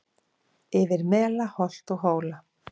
Yfir mela holt og hóla